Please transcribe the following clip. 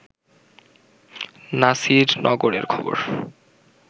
নাসির নগরের খবর